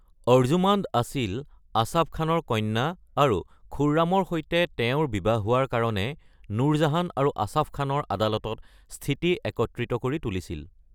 অৰ্জুমাণ্ড আছিল আছাফ খানৰ কন্যা আৰু খুৰমৰ সৈতে তেওঁৰ বিবাহ হোৱাৰ কাৰণে নুৰজাহান আৰু আছাফ খানৰ আদালতত স্থিতি একত্ৰিত কৰি তুলিছিল।